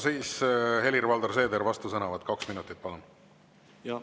Siis Helir-Valdor Seeder, vastusõnavõtt kaks minutit, palun!